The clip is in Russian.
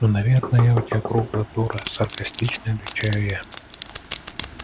ну наверное я у тебя круглая дура саркастично отвечаю я